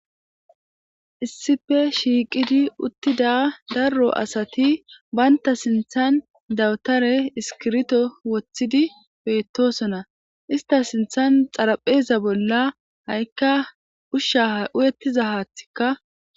issippe shiiqidi uttida darro asati banta sinthan dawutare iskirto woththidi beettosona ista sinthan xarapheza bolla ha7ikka ushsha uyettiza haathikka.